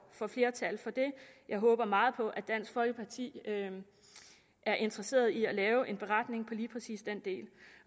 flertal for det jeg håber meget at dansk folkeparti er interesseret i at lave en beretning lige præcis den del